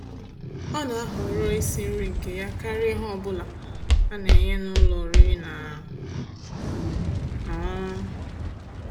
Ọ́ ná-àhọ̀rọ́ ísi nrí nkè yá kàríà íhè ọ́ bụ́là á ná-ènyé n'ụ́lọ̀ ọ̀rị́rị́ ná ọ̀ṅụ̀ṅụ̀